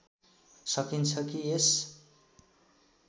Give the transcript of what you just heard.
सकिन्छ कि यस